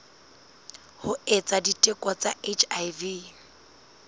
ho etsa diteko tsa hiv